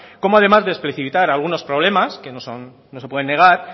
como además de explicitar algunos problemas que no se pueden negar